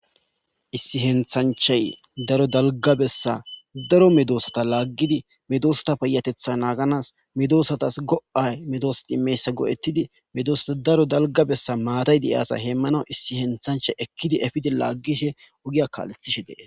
Issi henthanchay daro dalgabessa daro medoosata laaggidi medosata payatetha naaganas medoosatas go'ay medoosata imeyssa goo'ettidi medoossata daro dalgabessa maatay de'i asa heemmana issi henthanchay ekkidi efidi laaggishe ogiya kaalethishe dee.